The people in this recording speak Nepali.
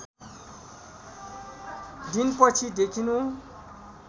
दिन पछि देखिनु